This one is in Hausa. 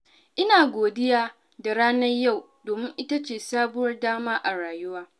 Ina godiya da ranar yau, domin ita ce sabuwar dama a rayuwa.